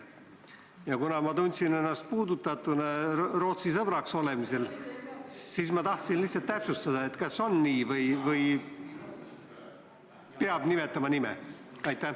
Ja kuna ma tundsin ennast Rootsi sõbraks olemisega seoses puudutatuna, siis tahtsin lihtsalt täpsustada, et kas piisab viitamisest või peab ikka nime nimetama?